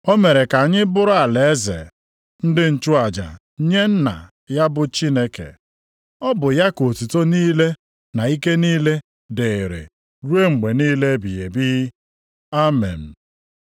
O mere ka anyị bụrụ alaeze, ndị nchụaja nye Nna ya bụ Chineke. Ọ bụ ya ka otuto niile na ike niile dịịrị ruo mgbe niile ebighị ebi. Amen.